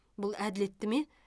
бұл әділетті ме